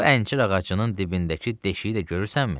Bu əncir ağacının dibindəki deşiyi də görürsənmi?